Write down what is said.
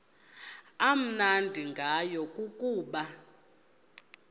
amnandi ngayo kukuba